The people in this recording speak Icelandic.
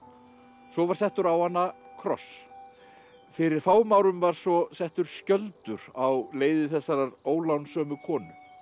svo var settur á hana kross fyrir fáum árum var svo settur skjöldur á leiði þessarar ólánsömu konu